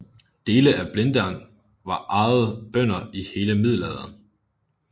Dele af Blindern var ejet bønder i hele middelalderen